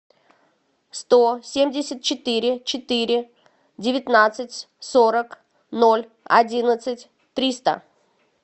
сто семьдесят четыре четыре девятнадцать сорок ноль одиннадцать триста